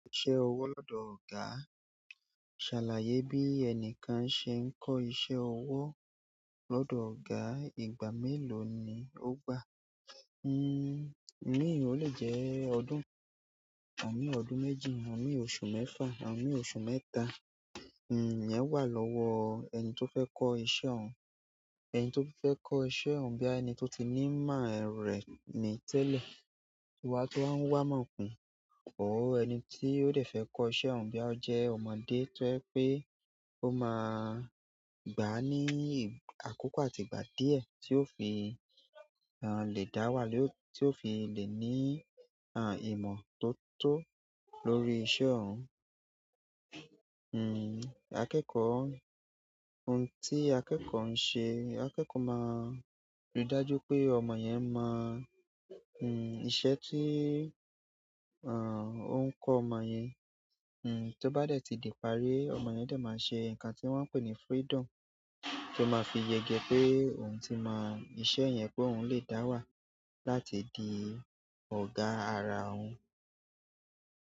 Ṣẹ owo lọdọ ọ̀gá. Ṣàlàyé bí ẹnìkan ṣe ń kọ́ iṣẹ́ ọwọ́ lọ́dọ̀ ọ̀gá, ìgbà mélòó ni ó gbà? Hmm, imí ò le jẹ́ ọdún, imii ọdún méjì, imii oṣù mẹ́fà, imii oṣù mẹ́ta. Hmm, ìyẹn wà lọ́wọ́ ẹni tó fẹ́ kọ́ iṣẹ́ òun. Ẹni tí ó fẹ́ kọ́ iṣẹ́ òun boya ẹni tó ti ní ìmọ̀ rẹ̀ ní tẹ́lẹ̀. To wa fẹ ń wá ìmọ̀ kùn. Or ẹni tí o dẹ fẹ́ kọ́ iṣẹ́ òun biya o jẹ́ ọmọdé tó jẹ pé ó máa gbáá ní àkókò àtìgbà díẹ̀ tí ó fi lè dá wà lé, tí ó fi lè ní ìmọ̀ tó tó lórí iṣẹ́ òun. Hmm, akẹ́kọ̀ọ́, ohun tí akẹ́kọ̀ọ́ ń ṣe, akẹ́kọ̀ọ́ máa rí i dájú pé ọmọ yẹn mọ̀, hmm, iṣẹ́ tí, ah, ó ń kọ ọmọ yẹn. To ba dẹ ti di ìparí, ọmọ yẹn dẹ ma ṣe nkan ti wọn pe ni freedom to ma fi yege pe oun ti mọ iṣẹ́ yén pe oun le da wa láti di ọ̀gá ara òun.